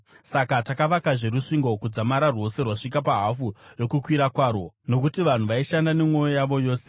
Saka takavakazve rusvingo kudzamara rwose rwasvika pahafu yokukwirira kwarwo, nokuti vanhu vaishanda nemwoyo yavo yose.